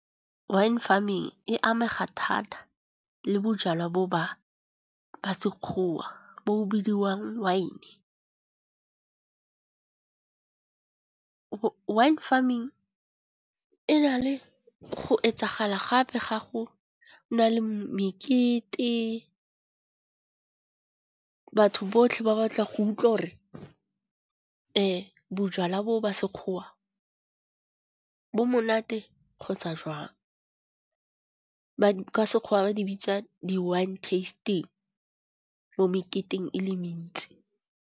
Wine farming e amega thata le bojalwa bo ba sekgowa bo o bidiwang wine. Wine farming e na le go etsagala gape ga go nale mekete, batho botlhe ba batla go utlwa gore bojwala bo ba sekgowa bo monate kgotsa jwang. Ka sekgowa ba di bitsa di wine testing mo meketeng e le mentsi.